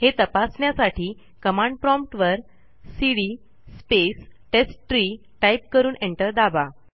हे तपासण्यासाठी command prompt वर सीडी स्पेस टेस्टट्री टाईप करून एंटर दाबा